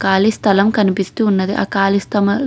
ఖాళీ స్థలం కనిపిస్తున్నది. ఆ ఖాళీ స్థలం --